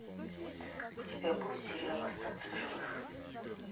у тебя будет сериал остаться в живых